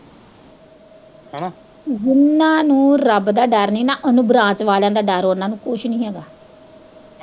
ਜਿੰਨਾਂ ਨੂੰ ਰੱਬ ਦਾ ਡਰ ਨੀ ਉਨੂੰ ਬਰਾਤ ਵਾਲਿਆ ਦਾ ਡਰ ਉਨਾਂ ਨੂੰ ਕੁੱਝ ਨੀ ਹੈਗਾ।